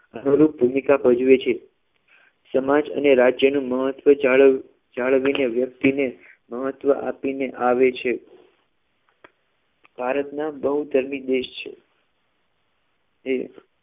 અનુરૂપ ભૂમિકા ભજવે છે સમાજ અને રાજ્યનું મહત્વ જાળવ જાળવીને વ્યક્તિને મહત્વ આપીને આવે છે ભારતના બહુધર્મી દેશ છે એ